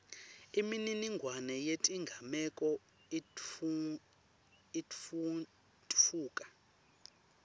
imininingwane yetigameko itfutfuka